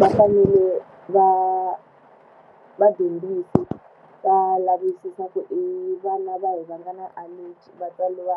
Va fanele va vadyondzisi va lavisisa ku i vana va hi va nga na allergy, va tsariwa